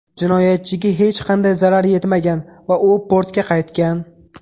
Jinoyatchiga hech qanday zarar yetmagan va u portga qaytgan.